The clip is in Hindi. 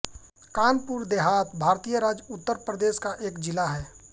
कानपुर देहात भारतीय राज्य उत्तर प्रदेश का एक जिला है